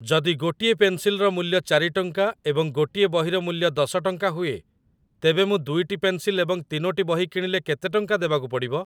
ଯଦି ଗୋଟିଏ ପେନ୍ସିଲର ମୂଲ୍ୟ ଚାରି ଟଙ୍କା ଏବଂ ଗୋଟିଏ ବହିର ମୂଲ୍ୟ ଦଶ ଟଙ୍କା ହୁଏ ତେବେ ମୁଁ ଦୁଇଟି ପେନ୍ସିଲ ଏବଂ ତିନୋଟି ବହି କିଣିଲେ କେତେ ଟଙ୍କା ଦେବାକୁ ପଡ଼ିବ